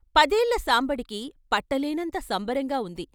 పదేళ్ళ సాంబడికి పట్టలేనంత సంబరంగా ఉంది.